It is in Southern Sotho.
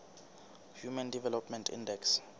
human development index